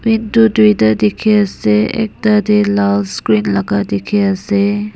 itu duita dikhi ase ekta dey lal screen laga dikhi ase.